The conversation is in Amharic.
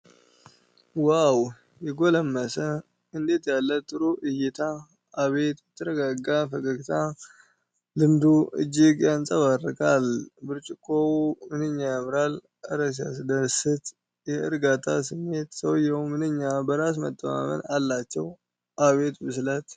ዋው! የጎለመሰ እንዴት ያለ ጥሩ እይታ! አቤት የተረጋጋ ፈገግታ! ልምዱ እጅግ ያንፀባርቃል። ብርጭቆው ምንኛ ያምራል! እረ ሲያስደስት የእርጋታ ስሜት! ሰውየው ምንኛ በራስ መተማመን አላቸው! አቤት ብስለት!